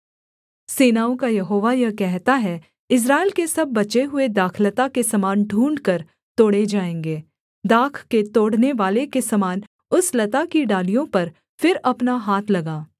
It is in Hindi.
सेनाओं का यहोवा यह कहता है इस्राएल के सब बचे हुए दाखलता के समान ढूँढ़कर तोड़े जाएँगे दाख के तोड़नेवाले के समान उस लता की डालियों पर फिर अपना हाथ लगा